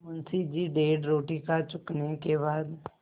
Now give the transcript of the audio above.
मुंशी जी डेढ़ रोटी खा चुकने के बाद